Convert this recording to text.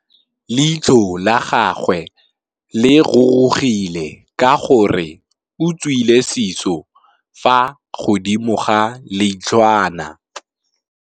Leitlhô la gagwe le rurugile ka gore o tswile sisô fa godimo ga leitlhwana.